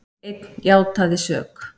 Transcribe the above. Einn játaði sök